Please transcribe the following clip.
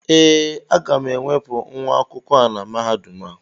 Ee, aga m enwepụ nwa akwụkwọ a na Mahadum a